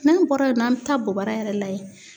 N'an bɔra yen nɔ, an be taa bobara yɛrɛ lajɛ.